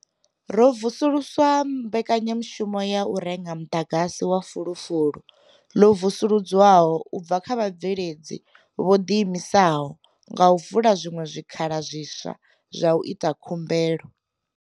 Ro vusulusa Mbekanyamushumo ya U renga Muḓagasi wa Fulufulu, ḽo Vusuludzwaho u bva kha Vhabveledzi vho Ḓiimisaho nga u vula zwiṅwe zwikhala zwiswa zwa u ita khumbelo.